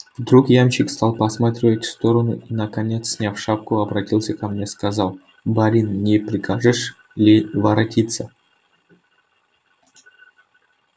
вдруг ямщик стал посматривать в сторону и наконец сняв шапку оборотился ко мне и сказал барин не прикажешь ли воротиться